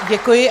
Děkuji.